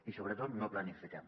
i sobretot no planifiquem